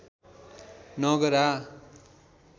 नगरा